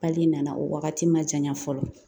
nana o wagati ma janya fɔlɔ